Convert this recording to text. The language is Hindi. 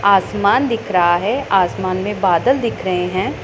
आसमान दिख रहा है आसमान में बादल दिख रहे हैं।